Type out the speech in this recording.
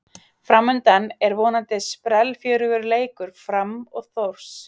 Framundan er vonandi sprellfjörugur leikur Fram og Þórs.